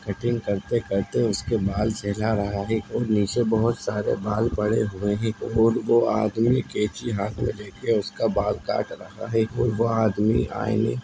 cutting करते करते उसके बाल सहला रहा है और नीचे बोहोत सारे बाल पड़े हुए हैं और वो आदमी कैची हाथ मे लेके उसका बाल काट रहा है और वोह आदमी आईने --